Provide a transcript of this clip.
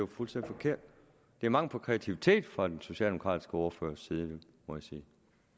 fuldstændig forkert det er mangel på kreativitet fra den socialdemokratiske ordførers side må jeg sige